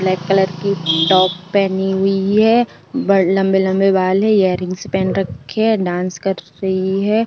Black colour की top पहनी हुई है। ब्-लंबे-लंबे बाल है। एयरिंगस पहन रखी है। डांस कर रही है।